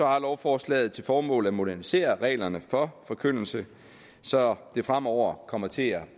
har lovforslaget til formål at modernisere reglerne for forkyndelse så det fremover kommer til at